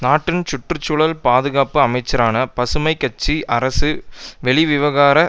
நாட்டின் சுற்றுசூழல் பாதுகாப்பு அமைச்சரான பசுமை கட்சி அரசு வெளிவிகார